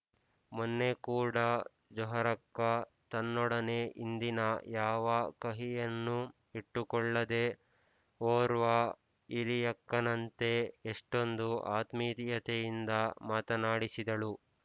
ಮೊನ್ನೆಕೂಡಾ ಜೊಹರಕ್ಕ ತನ್ನೊಡನೆ ಹಿಂದಿನ ಯಾವ ಕಹಿಯನ್ನೂ ಇಟ್ಟುಕೊಳ್ಳದೆ ಓರ್ವ ಹಿರಿಯಕ್ಕನಂತೆ ಎಷ್ಟೊಂದು ಆತ್ಮೀಯತೆಯಿಂದ ಮಾತನಾಡಿಸಿದಳು